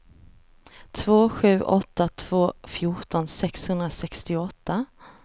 två sju åtta två fjorton sexhundrasextioåtta